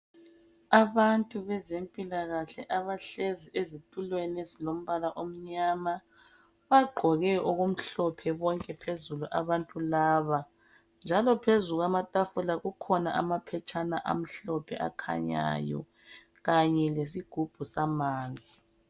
Abantu bezempilakahle abahlezi ezitulweni ezilombala omnyama bagqoke okumhlophe bonke phezulu abantu laba njalo phezu kwamatafula kukhona amaphetshana amhlophe akhanyayo kanye lesigubhu samanzi.